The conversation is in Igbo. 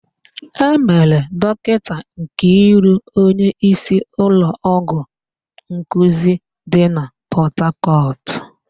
E mere Dọkịta Nkiru onyeísí ụlọọgwụ nkuzi dị na Pọtakọtụ.